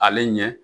Ale ɲɛ